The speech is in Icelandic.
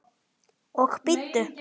Og bíddu.